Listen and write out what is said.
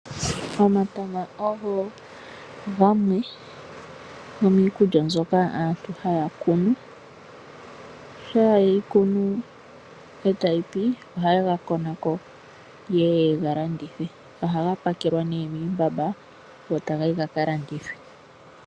Omatama ogo gamwe gomiikulya mbyoka aantu haya kunu ,shampa yeyi kunu ataga pi ohaye ga konako. Ohayega pakele nee muumbamba go tagayi gaka landithwe.